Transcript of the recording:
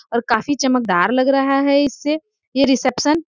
और काफी चमक दार लग रहा है इससे ये रिसेप्शन ।